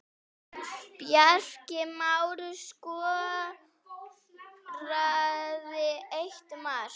Bjarki Már skoraði eitt mark.